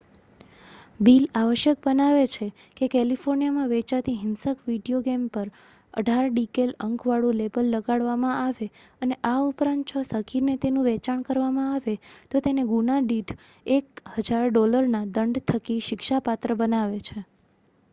"Bill આવશ્યક બનાવે છે કે કેલિફોર્નિયામાં વેચાતી હિંસક વિડિયો ગેમ પર "18" ડિકૅલ અંકવાળું લેબલ લગાડવામાં આવે અને આ ઉપરાંત જો સગીરને તેનું વેચાણ કરવામાં આવે તો તેને ગુના દીઠ $1,000ના દંડ થકી શિક્ષાપાત્ર બનાવે છે.